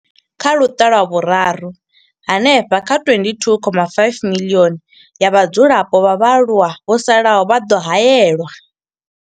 Kha Luṱa lwa Vhuraru, hanefha kha 22.5 miḽioni ya vhadzulapo vha vhaaluwa vho salaho vha ḓo haelwa.